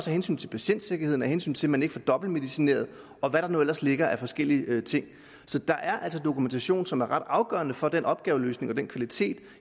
hensyn til patientsikkerheden af hensyn til at man ikke får dobbeltmedicineret og hvad der nu ellers ligger af forskellige ting så der er altså dokumentation som er ret afgørende for at den opgaveløsning og den kvalitet